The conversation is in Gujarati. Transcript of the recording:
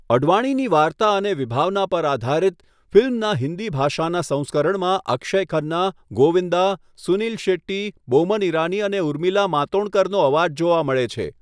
અડવાણીની વાર્તા અને વિભાવના પર આધારિત, ફિલ્મના હિન્દી ભાષાના સંસ્કરણમાં અક્ષય ખન્ના, ગોવિંદા, સુનીલ શેટ્ટી, બોમન ઈરાની અને ઉર્મિલા માતોંડકરનો અવાજ જોવા મળે છે.